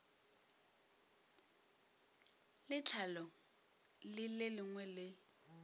le tlhahlo le lengwe le